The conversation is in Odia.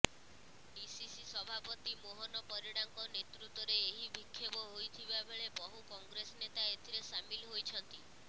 ଡ଼ିସିସି ସଭାପତି ମୋହନ ପରିଡାଙ୍କ ନେତୃତ୍ୱରେ ଏହି ବିକ୍ଷୋଭ ହୋଇଥିବାବେଳେ ବହୁ କଂଗ୍ରେସ ନେତା ଏଥିରେ ସାମିଲ ହୋଇଛନ୍ତି